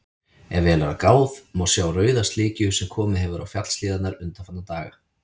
Ef vel er gáð, má sjá rauða slikju sem komið hefur á fjallshlíðarnar undanfarna daga.